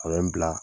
A bɛ n bila